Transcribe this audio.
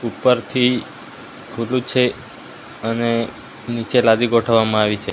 ઉપરથી ખુલ્લુ છે અને નીચે લાદી ગોઠવવામાં આવી છે.